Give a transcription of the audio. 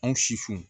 Anw si fun